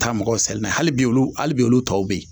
Ka taa mɔgɔw seli n'a ye, hali bi, hali bi olu tɔw bɛ yen.